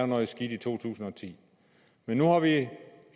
noget skidt i to tusind og ti men nu har vi